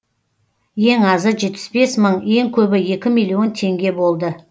ең азы жетпіс бес мың ең көбі екі миллион теңге болды